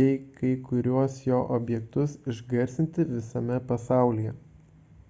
bei kai kuriuos jo objektus išgarsinti visame pasaulyje